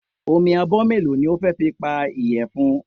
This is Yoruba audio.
Omi abọ́ mélòó ni o fẹ́ fi po ìyẹ̀fun?